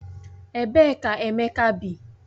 Ebee ka Emeka bi?